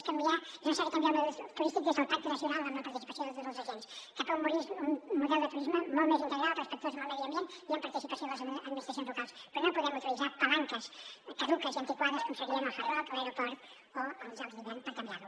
és necessari canviar el model turístic des del pacte nacional amb la participació de tots els agents cap a un model de turisme molt més integral respectuós amb el medi ambient i amb participació de les administracions locals però no podem utilitzar palanques caduques i antiquades com serien el hard rock l’aeroport o els jocs d’hivern per canviar lo